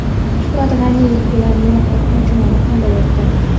Shuhrat G‘aniyev bilan matbuot anjumani qanday o‘tdi?.